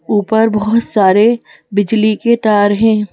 ऊपर बहुत सारे बिजली के तार हैं।